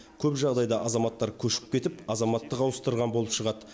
көп жағдайда азаматтар көшіп кетіп азаматтық ауыстырған болып шығады